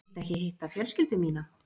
Viltu ekki hitta fjölskyldu mína?